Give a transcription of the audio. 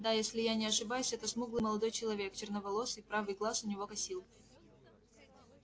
да если я не ошибаюсь это смуглый молодой человек черноволосый правый глаз у него косил